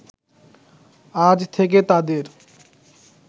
আজ থেকে তাঁদের